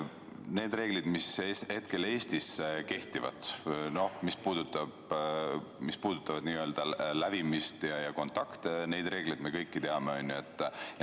Neid reegleid, mis hetkel Eestis kehtivad ja puudutavad lävimist ja kontakte, me kõik teame.